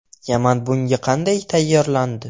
Yaman bunga qanday tayyorlandi?